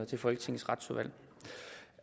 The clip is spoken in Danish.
til folketingets retsudvalg